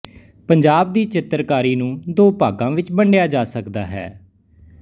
ਪੰਜਾਬ ਦੀ ਚਿੱਤਰਕਾਰੀ ਨੂੰ ਦੋ ਭਾਗਾਂ ਵਿੱਚ ਵੰਡਿਆ ਜਾ ਸਕਦਾ ਹੈ